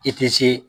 I tɛ se